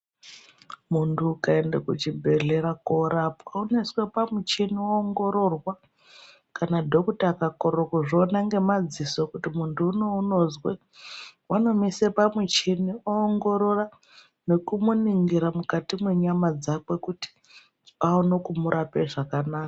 Muntu ukaende kuchibhedhlera korapwa unosise pamuchini woongororwa, kana dhokuta akakorere kuzviona ngemadziso kuti muntu unou unozwei vanomuisa pamuchini oongorora nekumuningira mukati mwenyama dzake kuti aone kumuraoa zvakanaka.